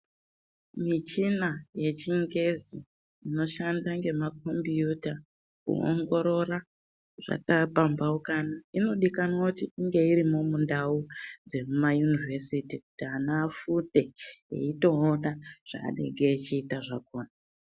Michina yechingezi inoshanda ngemakhombiyuta, kuongorora zvakapamhaukana, inodikanwa kuti inge irimo mundau dzemumayunivhesiti, kuti ana afunde, eitoona zvaanenge echida zvakhona.